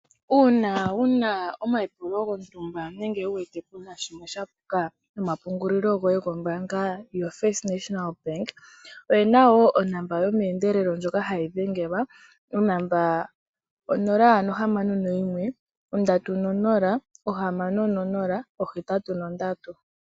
Uuna wuna omayipulo gontumba nenge wuuvite puna shimwe sha puka nomapungulilo goye go mbaanga yoFirst National Bank, oye na woo onamba yomeendelelo ndjoka hayi dhengelwa onamba 061306083.